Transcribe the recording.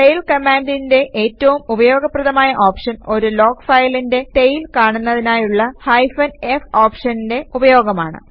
tail കമാൻഡിന്റെ ഏറ്റവും ഉപയോഗപ്രദമായ ഓപ്ഷൻ ഒരു ലോഗ് ഫയലിന്റെ ടെയിൽ കാണുന്നതിനായുള്ള ഹൈഫൻ f ഓപ്ഷന്റെ ഉപയോഗമാണ്